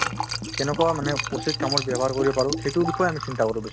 কেনেকুৱা মানে উচিত কামত ব্যৱহাৰ কৰিব পাৰো সেইটোৰ বিষয়ে চিন্তা কৰো আমি বেছি